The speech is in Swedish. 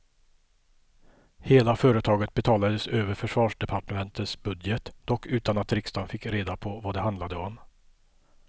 Hela företaget betalades över försvarsdepartementets budget, dock utan att riksdagen fick reda på vad det handlade om.